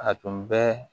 A tun bɛ